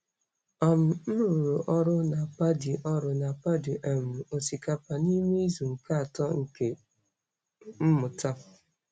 um M rụrụ ọrụ na paddy ọrụ na paddy um osikapa n'ime izu nke atọ nke mmụta.